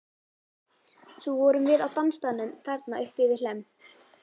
Svo vorum við á dansstaðnum þarna uppi við Hlemm.